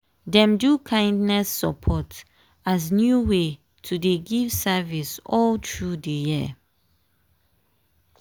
dem do kindness support as new way to dey give service all through di year.